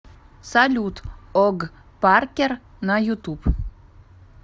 салют ог паркер на ютуб